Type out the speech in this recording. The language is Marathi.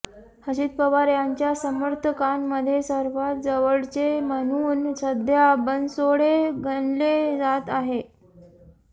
अजित पवार यांच्या समर्थकांमध्ये सर्वांत जवळचे म्हणून सध्या बनसोडे गणले जात आहेत